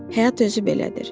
Həyat özü belədir.